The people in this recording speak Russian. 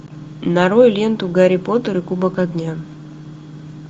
нарой ленту гарри поттер и кубок огня